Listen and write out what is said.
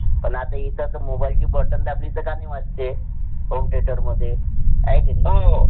पण आता इथंत mobile ची बटन दाबली तर गाणं वाजते. home theatre मध्ये हाय की नाही.